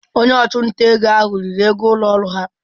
Onye ọchụnta ego ahụ riri ego ụlọ ọrụ ahụ.